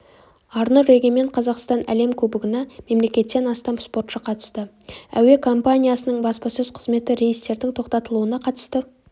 арнұр егемен қазақстан әлем кубогына мемлекеттен астам спортшы қатысты әуе компаниясының баспасөз қызметі рейстердің тоқтатылуына қатысты